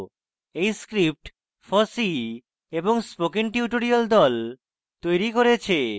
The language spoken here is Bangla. এই script fossee এবং spoken tutorial the তৈরী করেছে